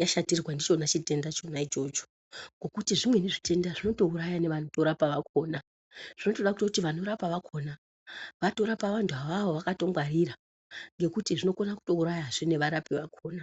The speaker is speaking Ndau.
yashatirwa ndichona chitenda chona ichocho. Ngokuti zvimweni zvitenda zvinotouraya nevanotorapa vakona. Zvinotoda kutoti vanotorapa vakona vatorapa vantu avavo vakangwarira ngokuti zvinokona kutourayazve nevarapa vakona.